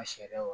A sariyaw